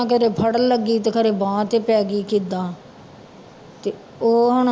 ਖਰੇ ਫੜਨ ਲੱਗੀ ਤੇ ਖਰੇ ਬਾਂਹ ਤੇ ਪੈ ਗਈ ਕਿੱਦਾਂ ਤੇ ਉਹ ਹੁਣ